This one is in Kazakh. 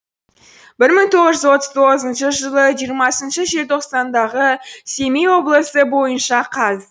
бір мың тоғыз жүз отыз тоғызыншы жылы жиырмасыншы желтоқсандағы семей облысы бойынша қаз